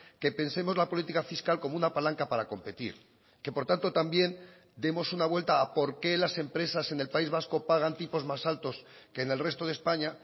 que pensemos la política fiscal como una palanca para competir que por tanto también demos una vuelta a por qué las empresas en el país vasco pagan tipos más altos que en el resto de españa